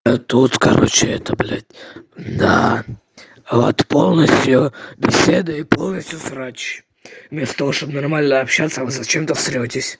а тут короче это блядь да вот полностью беседа и вот полностью срач вместо того чтоб нормально общаться вы зачем-то срётесь